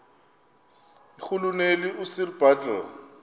irhuluneli usir bartle